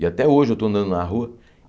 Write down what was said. E até hoje eu estou andando na rua.